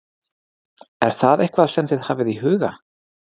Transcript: Er það eitthvað sem þið hafið í huga?